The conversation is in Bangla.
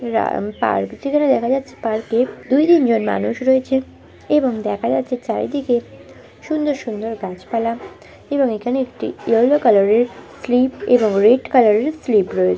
রা এমপার্ক যেখানে দেখা যাচ্ছে পার্কে দুই তিন জন মানুষ রয়েছে এবং দেখা যাচ্ছে চারিদিকে সুন্দর সুন্দর গাছপালা এবং এখানে একটি ইয়েলো কালারের স্লিপ এবং রেড কালারের স্লিপ রয়ে --